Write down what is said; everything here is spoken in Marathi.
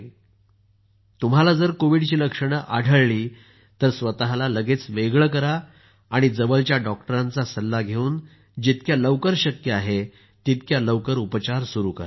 तसंच जर तुम्हाला कोविडची लक्षणं आढळली तर स्वतःला वेगळं करा आणि जवळच्या डॉक्टरांचा सल्ला घेऊन जितक्या लवकर शक्य आहे तितक्या लवकर उपचार सुरु करा